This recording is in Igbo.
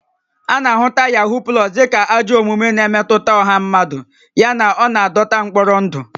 A na-ahụta Yahoo Plus dị ka ajọ omume na-emetụta ọha mmadụ yana ọ na-adọta mkpọrọ ndụ